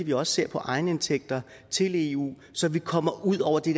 vi også ser på egenindtægter til eu så vi kommer ud over det